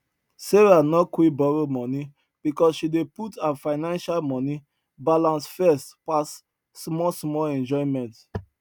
sarah no quick borrow money because she dey put her financial money balance first pass small small enjoyment